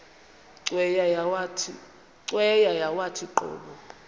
cweya yawathi qobo